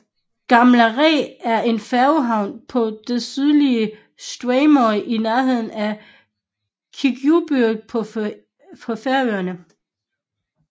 Gamlarætt er en færgehavn på det sydlige Streymoy i nærheden af Kirkjubøur på Færøerne